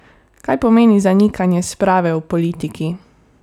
Kaj pomeni zanikanje sprave v politiki?